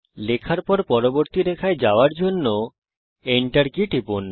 লেখার সময় পরবর্তী রেখায় যাওয়ার জন্য Enter কি টিপুন